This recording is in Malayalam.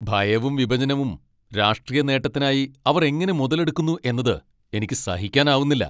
ഭയവും, വിഭജനവും രാഷ്ട്രീയ നേട്ടത്തിനായി അവർ എങ്ങനെ മുതലെടുക്കുന്നു എന്നത് എനിക്ക് സഹിക്കാനാവുന്നില്ല.